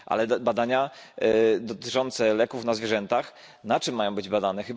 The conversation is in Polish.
Ale badania dotyczące leków na zwierzętach, na czym mają być badane?